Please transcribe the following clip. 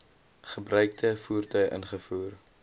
gebruikte voertuie ingevoer